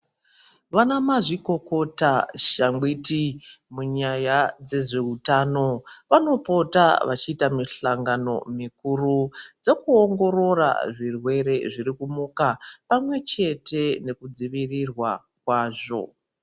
Vanamazvikokota shangwiti munyaya dzezveutano vanopota vachiita mihlangano mikuru yokuongorora zvirwere zviri kumuka pamwechete nekudzivirirwa kwazvo.